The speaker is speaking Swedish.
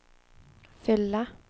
fylla